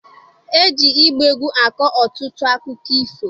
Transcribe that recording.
E ji ịgba egwu akọ ọtụtụ akụkọ ifo.